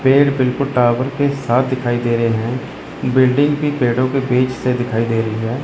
पेड़ बिल्कुल टावर के साथ दिखाई दे रही हैं बिल्डिंग भी पेड़ो के बीच से दिखाई दे रही है।